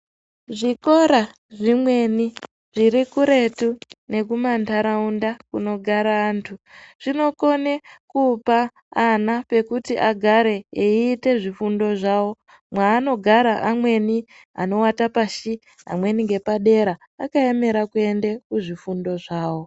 Zvikora zvimweni zviri kuretu nekumanharaunda kunogara vantu zvinokone kupa ana pekuti agare eite zvifundo zvavo mwaanogara amweni anowata pashi amweni ngepadera akaemera kuende zvifundo zvavo.